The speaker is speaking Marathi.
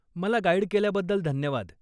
मला गाईड केल्याबद्दल धन्यवाद.